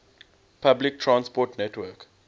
public transport network